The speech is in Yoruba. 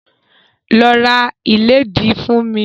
Lọ ra ìlédìí fún mi!